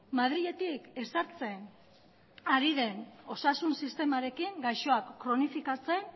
madriletik ezartzen ari den osasun sistemarekin gaixoak kronifikatze